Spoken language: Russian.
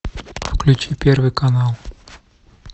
включи первый канал